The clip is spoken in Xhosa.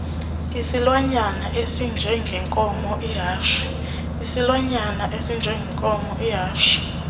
isilwanyana esinjengenkomo ihashe